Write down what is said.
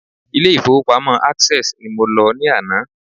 Ilé ìfowópamọ́ Access ni mo lọ ní àná